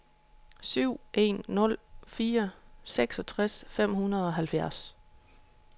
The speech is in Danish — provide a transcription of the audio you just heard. syv en nul fire seksogtres fem hundrede og halvfjerds